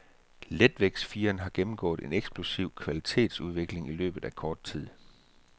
Letvægtsfirerklassen har gennemgået en eksplosiv kvalitetsudvikling i løbet af kort tid.